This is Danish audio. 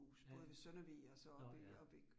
Ja, nåh ja